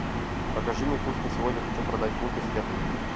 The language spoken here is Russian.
покажи мне курс на сегодня хочу продать фунты стерлинги